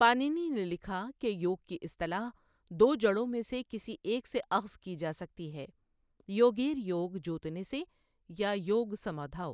پانینی نے لکھا کہ یوگ کی اصطلاح دو جڑوں میں سے کسی ایک سے اخذ کی جا سکتی ہے یوگیر یوگ جوتنے سے یا یوگ سمادھاؤ ۔